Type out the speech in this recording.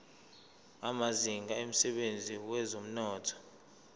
amazinga emsebenzini wezomnotho